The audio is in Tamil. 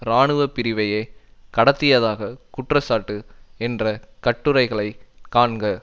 இராணுவ பிரிவையே கடத்தியதாக குற்றச்சாட்டு என்ற கட்டுரைகளை காண்க